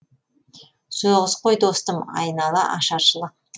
соғыс қой достым айнала ашаршылық